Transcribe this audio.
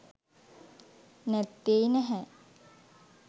නැත්තෙ නැහැ.